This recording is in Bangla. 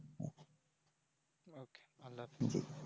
okay আল্লাহ হাফিজ